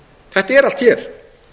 þetta er allt hér